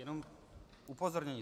Jenom upozornění.